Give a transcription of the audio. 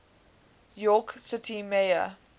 york city mayor